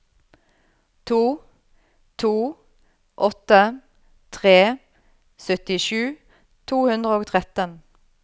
to to åtte tre syttisju to hundre og tretten